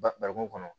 Barikon kɔnɔ